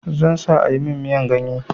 Zan sa a yi min miyan ganye.